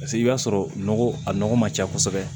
Paseke i b'a sɔrɔ nɔgɔ a nɔgɔ ma ca kosɛbɛ